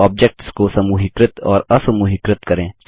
objects को समूहीकृत और असमूहीकृत करें